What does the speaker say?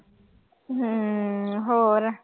ਹੂੰ ਹੋਰ।